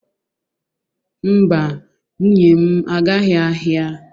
Mba, nwunye m agaghị ahịa.